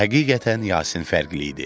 Həqiqətən Yasin fərqli idi.